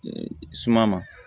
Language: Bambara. Suma ma